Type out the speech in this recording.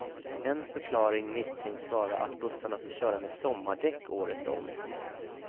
En förklaring misstänks vara att bussarna får köra med sommardäck året om.